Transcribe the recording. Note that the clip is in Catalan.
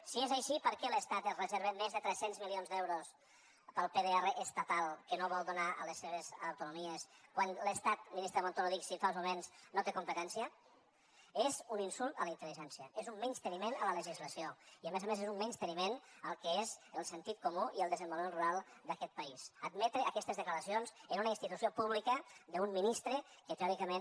si és així per què l’estat es reserva més de tres cents milions d’euros pel pdr estatal que no vol donar a les seves autonomies quan l’estat ministre montoro dixitfa uns moments no té competència és un insult a la intel·ligència és un menysteniment a la legislació i a més a més és un menysteniment al que és el sentit comú i el desenvolupament rural d’aquest país admetre aquestes declaracions en una institució pública d’un ministre que teòricament